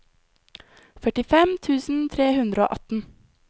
førtifem tusen tre hundre og atten